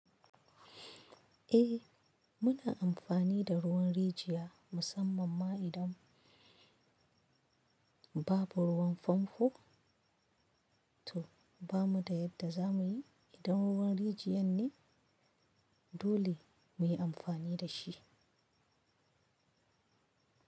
Eh, muna amfani da ruwan rijiya musamman ma idan babu ruwan fanfo. To bamu da yadda za muyi, idan ruwan rijiyar ne dole muyi amfani da shi.